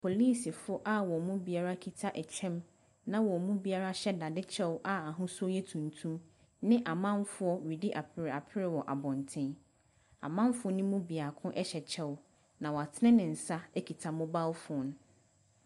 Apolisifoɔ a wɔn mu biara kita ɛkyɛm na wɔn mu biara hyɛ dadekyɛw a ahosuo yɛ tuntum ne amanfoɔ redi apreapre wɔ abɔnten. Amanfoɔ no mu biako hyɛ kyɛw na watene ne nsa kita mobile phone.